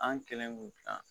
An kɛlen k'o dilan